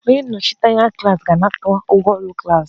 Onye nnọchiteanya klas ga-anakọta ụgwọ klas